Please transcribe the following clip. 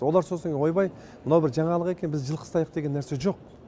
олар сосын ойбай мынау бір жаңалық екен біз жылқы ұстайық деген нәрсе жоқ